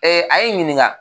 a ye n ɲininka.